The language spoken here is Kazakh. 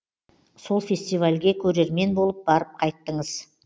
сол фестивальге көрермен болып барып қайттыңыз